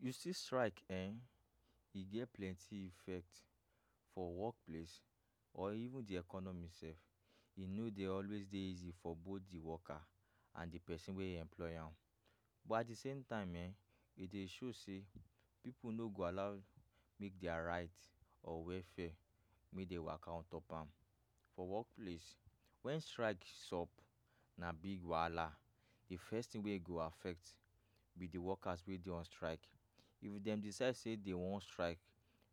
You see strike ehn, e get plenty effect for wokplace or even di economy sef. E no dey always dey easy for both di worker and di pesin wey employ am, but at di same time ehn, e dey show say pipu no go allow make dia right or welfare wey dey waka on top am for wokplace. Wen strike sub, na big wahala. Di first tin wey e go affect be di workers wey dey on strike. If dem decide say dem wan strike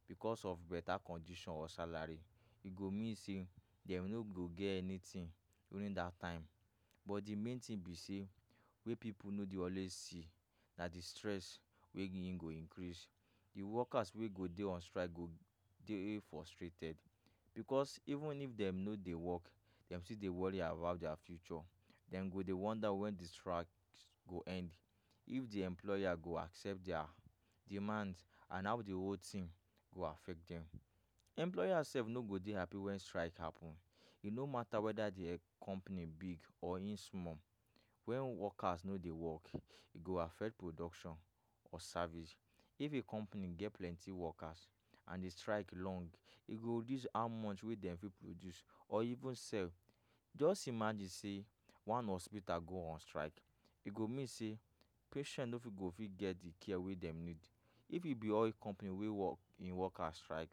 bicos of betta condition or salary, e go mean say dem no go get anytin during dat time. But di main tin be say wey pipu no dey always see na di stress wey in go increase. Di workers wey go dey on strike go dey frustrated bicos even if dem no dey wok, dem still dey worry about dia future. Dem go dey wonder wen di strike go end, if di employer go accept dia demand, and how di whole tin go affect dem. Employer sef no go dey happy wen strike happun. E no matter weda di um company big or in small, wen workers no dey wok, e go affect production or service. If a company get plenty workers and di strike long, e go reduce how much wey dem fit produce or even sell. Just imagine say one hospital go on strike, e go mean say patient no fit go fit get di care wey dem need. If e be oil company wey wok im workers strike,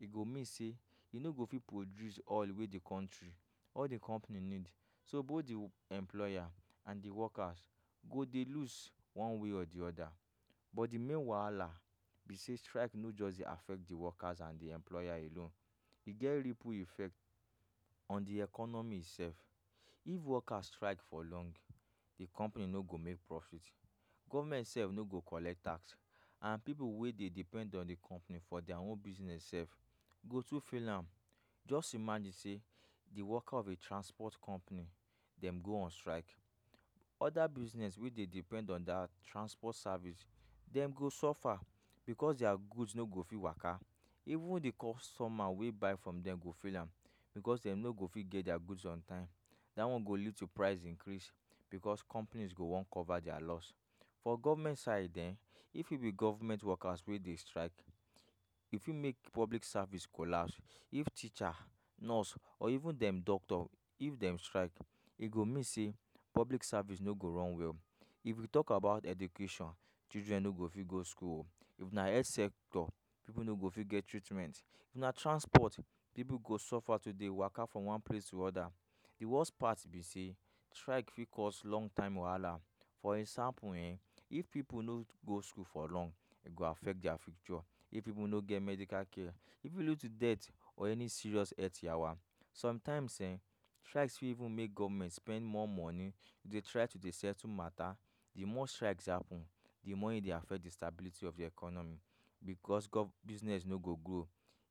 e go mean say you no go fit produce oil wey di country [] di company need. So both di employer and di workers go dey lose one way or di oda. But di main wahala be say strike no just dey affect di workers and di employer alone. E get ripple effect on di economy sef. If workers strike for long, di company no go make profit, govment sef no go collect tax, and pipu wey dey depend on di company for dia own business sef go too fail am. Just imagine say di worker of a transport company dem go on strike, oda business wey dey depend on dat transport service dem go suffer bicos dia goods no go fit waka. Even di customer wey buy from dem go feel am bicos dem no go fit get dia goods on time. Dat one go lead to price increase bicos companies go wan cover dia loss. For govment side um, if yu be govment workers wey dey strike, e fit make public service collapse. If teacher, nurse or even dem doctor if dem strike, e go mean say public service no go run well. If we tok about education, children no go fit go school um. If na health sector, pipu no go fit get treatment. If na transport, pipu go suffer to dey waka from one place to oda. Di worst part be say strike fit cause long time wahala. For example ehn, if pipu no go school for long, e go affect dia future. If pipu no get medical care, e fit lead to death or any serious health yawa. Somtimes ehn, strikes fit even make govment spend more money dey try to dey settle matta. Di more strikes dey happun, di more e dey affect di stability of di economy bicos business no go grow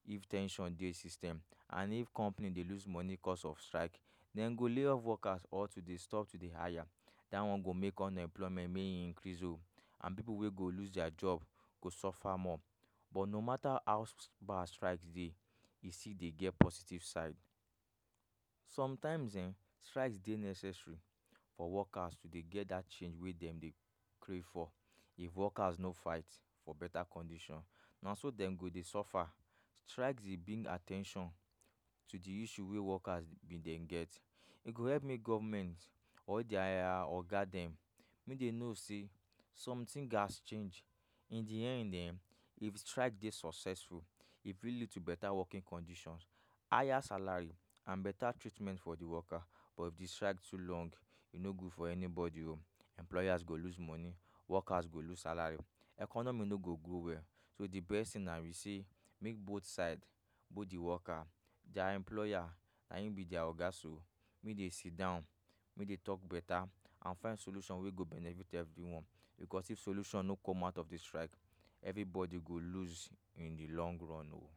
if ten sion dey system. And if company dey lose money cos of strike, dem go lay workers off or to dey stop to dey hire. Dat one go make unemployment increase o, and pipu wey go lose dia job go suffer more. But no matter how bad strike dey, e still dey get positive side. Somtimes um strikes dey necessary for workers to dey get dat change wey dem dey pray for. If workers no fight for betta condition, na so dem go dey suffer. Strike dey bring at ten tion to di issue wey workers bin dey get. E go help make govment or dia um oga dem make dem know say somtin gats change. In di end um, if strike dey successful, e fit lead to betta working conditions, higher salary, and betta treatment for di worker. But if di strike too long, e no good for anybodi o. Employers go lose money, workers go lose salary, economy no go go well. So di best tin na be say make both side both di worker and dia employer na im be dia oga so make dey sidon, make dey tok betta, and find solution wey go benefit evri one. Bicos if solution no come out of di strike, evribodi go lose in di long run o.